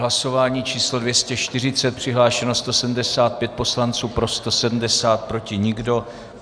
Hlasování číslo 240, přihlášeno 175 poslanců, pro 170, proti nikdo.